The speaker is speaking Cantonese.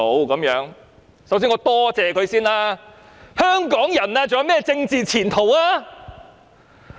"首先，我想多謝他們，但試問香港人還有何政治前途呢？